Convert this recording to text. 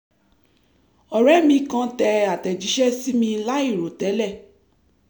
ọ̀rẹ́ mi kàn tẹ àtẹ̀jíṣẹ́ sí mi láìròtẹ́lẹ̀